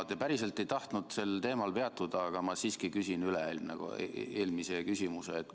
Te päriselt ei tahtnud sel teemal peatuda, aga ma siiski küsin üle-eelmise küsimuse üle.